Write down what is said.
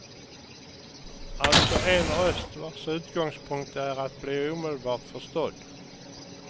Alltså en röst vars utgångspunkt är att bli omedelbart förstådd.